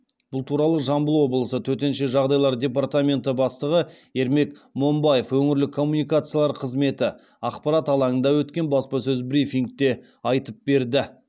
бұл туралы жамбыл облысы төтенше жағдайлар департаменті бастығы ермек момбаев өңірлік коммуникациялар қызметі ақпарат алаңында өткен баспасөз брифингте айтып берді